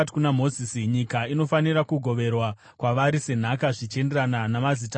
“Nyika inofanira kugoverwa kwavari senhaka zvichienderana namazita akaverengwa.